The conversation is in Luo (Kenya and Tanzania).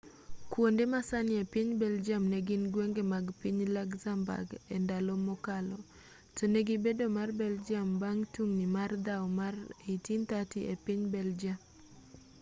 kuonde masani epiny belgium negin gwenge mag piny luxembourg endalo mokalo tonegi bedo mar belgium bang' tungni mag dhaw mar 1830 epiny belgium